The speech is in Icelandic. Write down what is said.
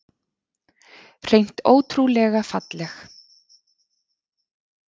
Hreint ótrúlega falleg